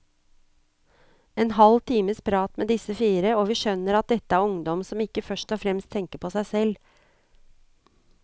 En halv times prat med disse fire, og vi skjønner at dette er ungdom som ikke først og fremst tenker på seg selv.